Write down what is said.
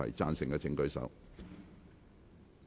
贊成的請舉手。